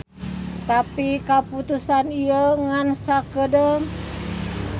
Tapi kaputusan ieu ngan sakeudeung.